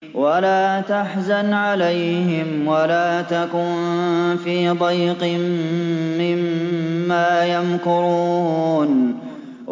وَلَا تَحْزَنْ عَلَيْهِمْ وَلَا تَكُن فِي ضَيْقٍ مِّمَّا يَمْكُرُونَ